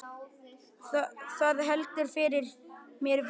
Það heldur fyrir mér vöku.